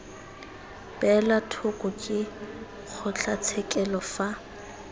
beelwa thoko ke kgotlatshekelo fa